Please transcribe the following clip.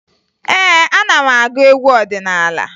Ee, ana m agụ egwu ọdịnaala